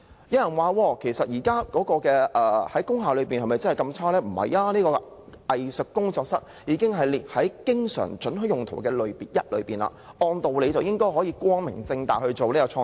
有人質疑，工廈的情況不是那麼差，因為"藝術工作室"已列為"經常准許的用途"之一，按道理應該可以光明正大從事創作。